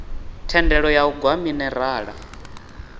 thendelo ya u gwa minerala